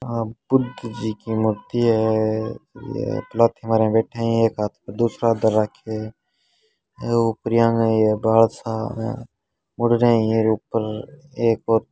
आ बुद्ध जी की मूर्ति है ये पालथी मारे बैठे है एक हाथ पर दूसरा हाथ राखे ऐ उपरियांग --